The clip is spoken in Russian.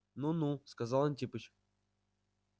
ну ну сказал антипыч